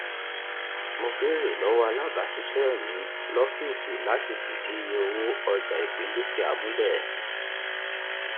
mo béèrè lọwọ alábàáṣiṣẹ mi ní ọfíìsì láti fìdí iye owó ọjà ìpín dúkìá múlẹ